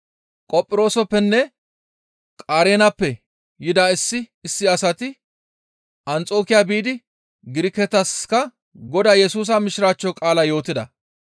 Qophirooseppenne Qareenappe yida issi issi asati Anxokiya biidi Giriketaska Godaa Yesusa Mishiraachcho qaalaa yootida.